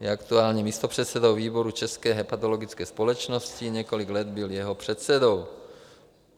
Je aktuálně místopředsedou výboru České hepatologické společnosti, několik let byl jeho předsedou.